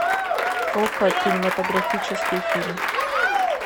окко кинематографический фильм